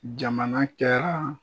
Jamana kɛra